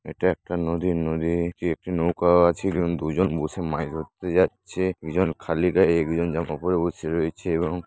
এটা একটা নদীর নদী একটি নৌকা আছে দুজন বসে মাছ ধরতে যাচ্ছে একজন খালি গায়ে একজন জামা পরে বসে রয়েছে এবং--